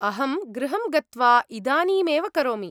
अहं गृहं गत्वा इदानीमेव करोमि।